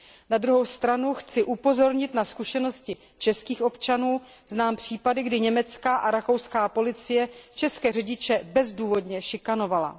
Na druhou stranu chci upozornit na zkušenosti českých občanů, znám případy, kdy německá a rakouská policie české řidiče bezdůvodně šikanovala.